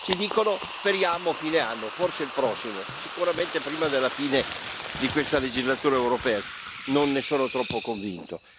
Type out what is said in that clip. Ci dicono speriamo fine anno, forse il prossimo, sicuramente prima della fine di questa legislatura europea, non ne sono troppo convinto.